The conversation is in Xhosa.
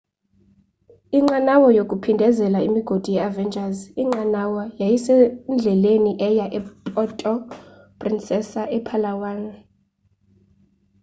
inqanawa yokuphindezela imigodi ye-avengers inqanawa yayisendleleni eya epuerto princesa epalawan